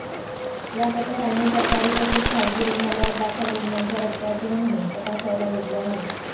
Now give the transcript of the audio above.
या पथकांनी सरकारी तसेच खासगी रुग्णालयांत दाखल रुग्णांच्या रक्ताचे नमुने तपासायला घेतले आहेत